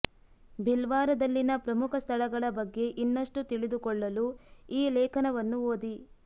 ಭಿಲ್ವಾರದಲ್ಲಿನ ಪ್ರಮುಖ ಸ್ಥಳಗಳ ಬಗ್ಗೆ ಇನ್ನಷ್ಟು ತಿಳಿದುಕೊಳ್ಳಲು ಈ ಲೇಖನವನ್ನು ಓದಿ